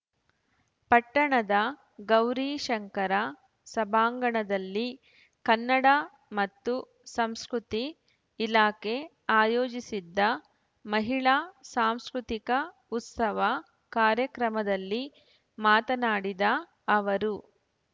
ಪಟ್ಟಣದ ಗೌರೀಶಂಕರ ಸಭಾಂಗಣದಲ್ಲಿ ಕನ್ನಡ ಮತ್ತು ಸಂಸ್ಕೃತಿ ಇಲಾಖೆ ಆಯೋಜಿಸಿದ್ದ ಮಹಿಳಾ ಸಾಂಸ್ಕೃತಿಕ ಉತ್ಸವ ಕಾರ್ಯಕ್ರಮದಲ್ಲಿ ಮಾತನಾಡಿದ ಅವರು